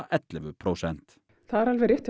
ellefu prósent það er alveg rétt